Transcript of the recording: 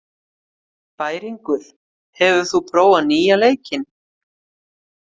Bæringur, hefur þú prófað nýja leikinn?